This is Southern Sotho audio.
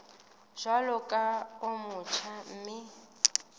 jwalo ka o motjha mme